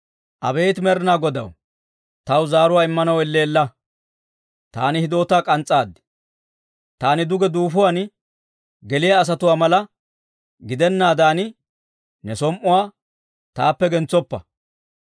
Abeet Med'inaa Godaw, taw zaaruwaa immanaw elleella! Taani hidootaa k'ans's'aad. Taani duge duufuwaan geliyaa asatuwaa mala gidennaadan, ne som"uwaa taappe gentsoppa.